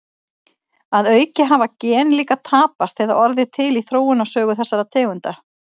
Að auki hafa gen líka tapast eða orðið til í þróunarsögu þessara tegunda.